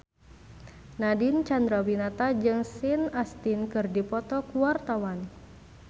Nadine Chandrawinata jeung Sean Astin keur dipoto ku wartawan